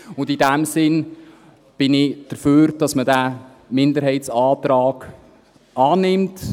In diesem Sinne bin ich dafür, dass man diesen Minderheitsantrag annimmt.